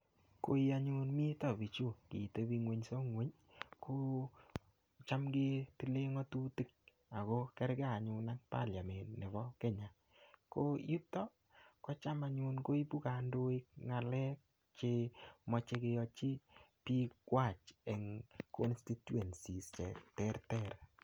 Koii anyun mito bichu kotebi ngweso ngweny ko cham ketile ngotutik ak ko kerke anyun ak parliament nebo Kenya, ko yuto kotam anyun koibu kondoik ngalek che moche keyochi biikwak en constituencies cheterter.